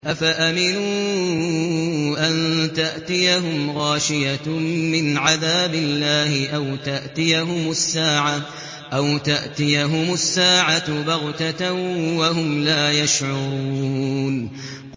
أَفَأَمِنُوا أَن تَأْتِيَهُمْ غَاشِيَةٌ مِّنْ عَذَابِ اللَّهِ أَوْ تَأْتِيَهُمُ السَّاعَةُ بَغْتَةً وَهُمْ لَا يَشْعُرُونَ